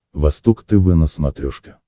восток тв на смотрешке